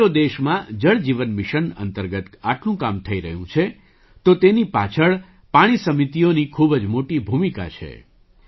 આજે જો દેશમાં જળ જીવન મિશન અંતર્ગત આટલું કામ થઈ રહ્યું છે તો તેની પાછળ પાણી સમિતિઓની ખૂબ જ મોટી ભૂમિકા છે